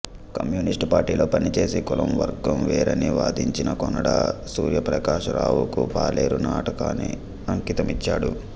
కమ్యూనిస్టుపార్టీలో పనిచేసి కులం వర్గం వేరని వాదించిన కోనాడ సూర్యప్రకాశరావుకి పాలేరు నాటకాన్ని అంకితమిచ్చాడు